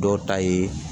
Dɔw ta ye